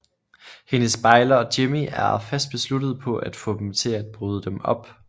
Hendes bejler Jimmie er fast besluttet på at få dem til at bryde dem op